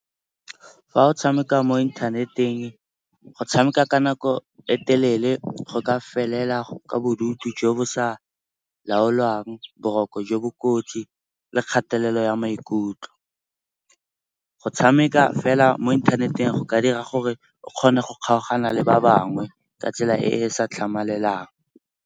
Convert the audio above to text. Fa o tshameka mo inthaneteng go tshameka ka nako e telele go ka felela ka bodutu jo bo sa laolwang, boroko jo bo kotsi le kgatelelo ya maikutlo. Go tshameka fela mo inthaneteng go ka dira gore o kgone go kgaogana le ba bangwe ka tsela e e sa tlhamalelang.